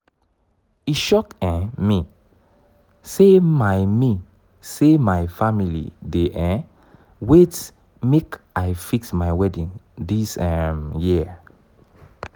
e shock um me sey my me sey my family dey um wait make i fix my wedding dis um year